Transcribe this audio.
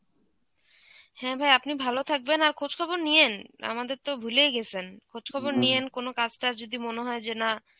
হ্যাঁ ভাই আপনি ভালো থাকবেন আর খোঁজ খবর নিয়েন, আমাদের তো ভুলেই গেছেন, খোঁজ খবর নিয়েন কোন কাজ টাজ যদি মনে হয় যে না